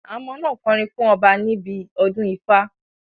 Àwọn ọmọ náà kọrin fún ọba níbi odún Ifa